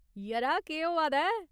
यरा, केह् होआ दा ऐ ?